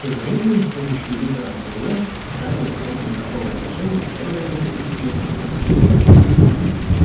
тем временем с помощью уимпера наполеон вставил в сложные торговые отношения с фредериком и пилкингтоном